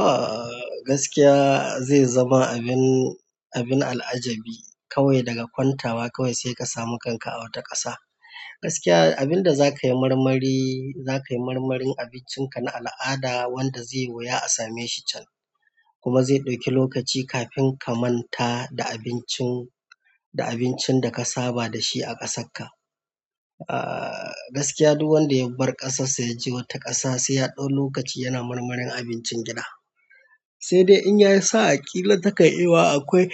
Ah gaskiya zai zama abin, abin al'ajabi kawai daga kwantawa kawai sai ka samu kanka a wata ƙasa. Gaskiya abin da za ka yi marmari, za ka yi marmarin abincin ka na al'ada wanda zai wuya a same shi can. Kuma zai ɗauki lokaci kafin ka manta da abincin, da abincin da ka saba da shi a ƙasarka. Ah gaskiya duk wanda ya bar ƙasarsa ya je wata ƙasa sai ya ɗau lokaci yana marmarin abincin gida. Sai dai in yayu sa'a ƙila ta kan iya yuwa akwai,